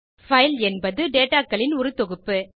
file என்பது dataகளின் ஒரு தொகுப்பு